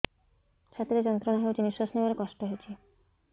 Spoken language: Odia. ଛାତି ରେ ଯନ୍ତ୍ରଣା ହେଉଛି ନିଶ୍ଵାସ ନେବାର କଷ୍ଟ ହେଉଛି